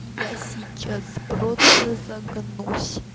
и я сейчас просто загнусь